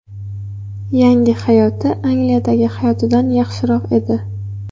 Yangi hayoti Angliyadagi hayotidan yaxshiroq edi.